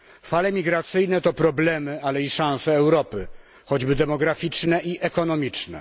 Fale migracyjne to problemy, ale i szanse Europy, choćby demograficzne i ekonomiczne.